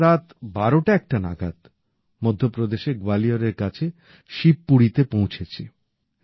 আমরা রাত ১২১ টা নাগাদ মধ্য প্রদেশের গোয়ালিয়রের কাছে শিবপুরীতে পৌঁছেছি